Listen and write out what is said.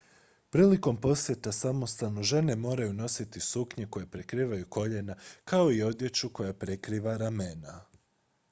prilikom posjeta samostanu žene moraju nositi suknje koje prekrivaju koljena kao i odjeću koja prekriva ramena